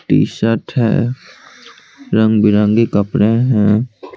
T-shirt है रंग बिरंगी कपड़े हैं।